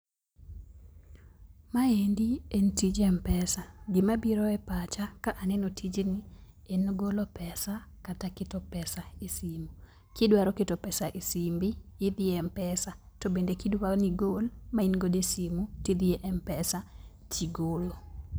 Maendi en tij m-pesa. Gima biro epacha ka aneno tijni en golo pesa kata keto pesa esimu. Kidwaro keto pesa esimbi, idhi e m-pesa. To bende kidwa nigol ma in godo e simu tidhi e m-pesa, tigolo.